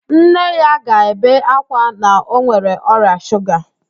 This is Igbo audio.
Nne ya ga-ebe ákwá na ọ nwere ọrịa shuga